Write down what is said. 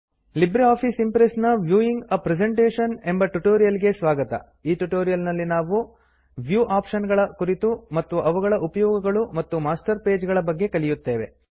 Libre office Impress ನ viewing a presentation ಎಂಬ tutorial ಗೆ ಸ್ವಾಗತ ಈ ಟ್ಯುಟೋರಿಯಲ್ ನಲ್ಲಿ ನಾವು ವ್ಯೂ ಆಪ್ಶನ್ ಗಳ ಕುರಿತು ಮತ್ತು ಅವುಗಳ ಉಪಯೋಗಗಳು ಮತ್ತು ಮಾಸ್ಟರ್ ಪೇಜಸ್ ಗಳ ಬಗ್ಗೆ ಕಲಿಯುತ್ತೇವೆ